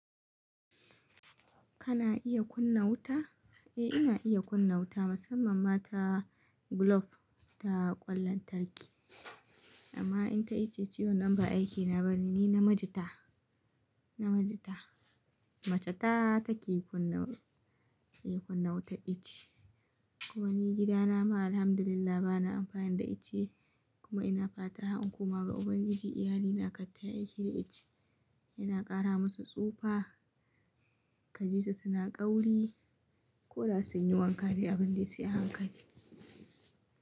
Kana iya kunna wuta? Eh ina iya kunna wuta, musamman ma ta globe, ta ƙwan lantarki amma in ta icce ciwo nan ba aikina ba ne, ni namiji ta, namiji ta. Mace ta take kunna, iya kunna wutar icce. Kuma ni gidana ma Alhamdulillah bana amfani da icce. Kuma ina fata har inkoma ga ubangiji iyali na kar tayi aiki da ice. Yana ƙara musu tsufa, kaji su suna ƙauri. Koda sun yi wanka dai abin da su yi hankali.